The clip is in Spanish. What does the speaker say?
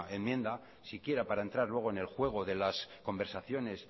enmienda siquiera para entrar luego en el juego de las conversaciones